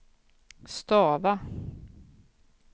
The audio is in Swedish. stava